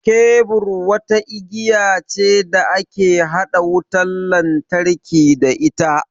Kebur wata igiya ce da ake haɗa wutan lantarki da ita.